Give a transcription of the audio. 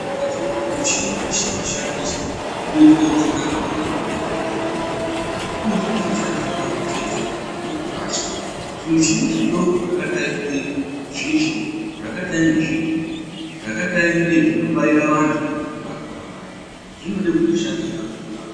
Saka tiri kuti muchini weshe washandiswa kuitire utsanana hwedu hunge hwakahlamburuka unofana kushandiswa kamwe chete wotorashwa. Zvimichini zvidoko zvakadai ngezvisvo, zvakadai ngezvigero ,zvakadai ngezvinobaira vanthu vanenge varwara vaya ,zvinode kuti zvishandiswe kamwe zvorashwa.